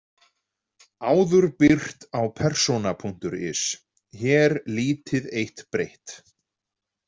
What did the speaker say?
Áður birt á persona.is, hér lítið eitt breytt.